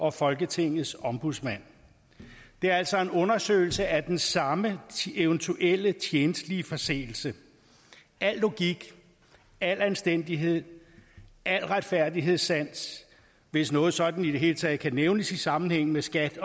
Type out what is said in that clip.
og folketingets ombudsmand det er altså en undersøgelse af den samme eventuelle tjenstlige forseelse al logik al anstændighed al retfærdighedssans hvis noget sådant i det hele taget kan nævnes i sammenhæng med skat